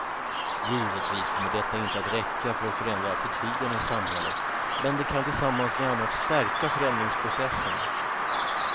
Givetvis kommer detta inte att räcka för att förändra attityderna i samhället, men det kan tillsammans med annat stärka förändringsprocessen.